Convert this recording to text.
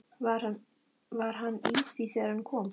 Var hann í því þegar hann kom?